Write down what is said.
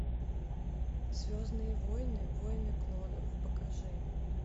звездные войны войны клонов покажи